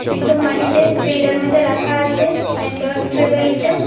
একদম মাটিতে ফিল্ডের মইদ্যে রাখা আছে নেটওয়ার্ক ট্রেভেলটা।